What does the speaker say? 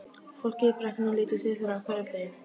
Fólkið í Brekku lítur til þeirra á hverjum degi.